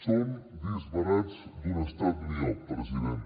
són disbarats d’un estat miop president